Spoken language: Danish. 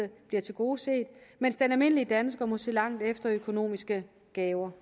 bliver tilgodeset mens den almindelige dansker må se langt efter økonomiske gaver